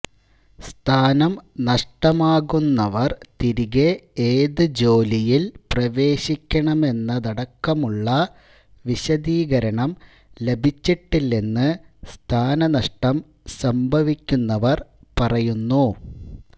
സ്ഥാനം നഷ്ടമാകുന്നവര് തിരികെ ഏത് ജോലിയില് പ്രവേശിക്കണമെന്നതടക്കമുള്ള വിശദീകരണം ലഭിച്ചിട്ടില്ലെന്ന് സ്ഥാനനഷ്ടം സംഭവിക്കുന്നവര് പറയുന്നു